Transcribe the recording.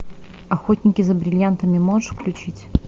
охотники за бриллиантами можешь включить